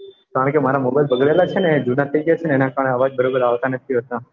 કારણ કે મારા mobile બગડેલા છે ને જુના થઇ ગયા છે એના કારણે અવાજ બરોબર આવતા નથી હોતા